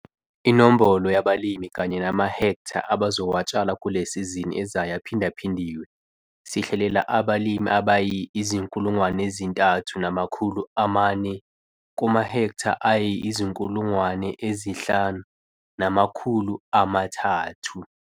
Inombolo yabalimi kanye namahektha abazowatshala kule sizini ezayo aphindaphindiwe - sihlelela abalimi abayi3 400 kumahektha ayi-5 300.